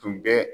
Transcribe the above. Tun bɛ